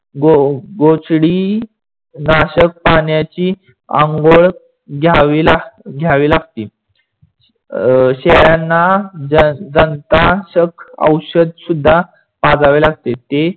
गोचडी नाशक पाण्याची आंगोड घ्यावी लागते. अं शेळ्याना जन्तशाक औषध सुद्धा पाजावी लागते. ते